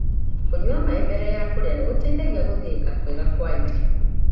Kunyua maĩ mbere ya kũrĩa nĩgũteithagia gũthĩika kwega kwa irio.